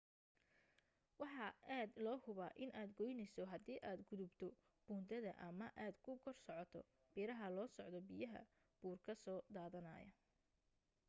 waxa aad loo huba in aad qoyneyso haddi aad gudubto buundada ama aad ku kor socoto biraha loo socdo biyaha buur ka soo dadanayo